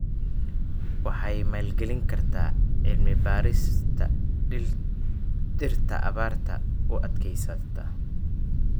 Waxay maalgelin kartaa cilmi-baarista dhirta abaarta u adkeysata.